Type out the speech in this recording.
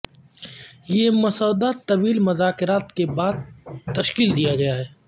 یہ مسودہ طویل مذاکرات کے بعد تشکیل دیا گیا ہے